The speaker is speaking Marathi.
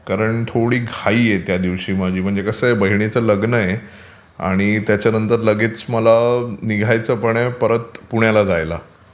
कारण थोडी घाई आहे त्या दिवशी माझी. म्हणजे कसं आहे बहिणीचं लग्न आहे आणि त्याच्यानंतर लगेच मला निघायचं पण आहे परत पुण्याला जायला.